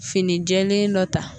Finijɛlen dɔ ta